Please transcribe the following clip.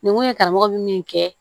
Nin kun ye karamɔgɔ bɛ min kɛ